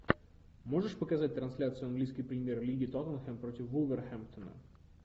можешь показать трансляцию английской премьер лиги тоттенхэм против вулверхэмптона